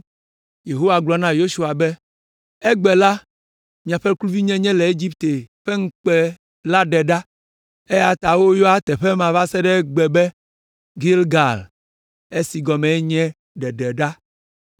Yehowa gblɔ na Yosua be, “Egbe la, miaƒe kluvinyenye le Egipte ƒe ŋukpe la ɖe ɖa,” eya ta woyɔa teƒe ma va se ɖe egbe be Gilgal, si gɔmee nye, “Ɖeɖeɖa.”